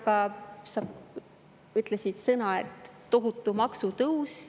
Aga sa kasutasid sõnu "tohutu maksutõus".